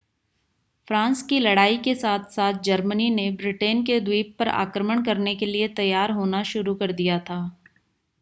France की लड़ाई के साथ-साथ जर्मनी ने ब्रिटेन के द्वीप पर आक्रमण करने के लिए तैयार होना शुरू कर दिया था